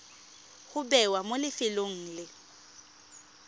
go bewa mo lefelong le